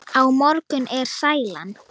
Á morgun er sælan.